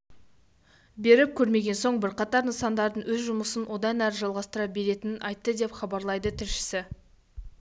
беріп көрмеден соң бірқатар нысандардың өз жұмысын одан әрі жалғастыра беретінін айтты деп хабарлайды тілшісі